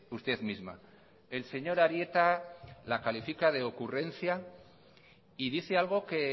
usted misma el señor arieta la califica de ocurrencia y dice algo que